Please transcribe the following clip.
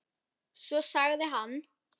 Svo sagði hann